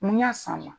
Mun y'a san ma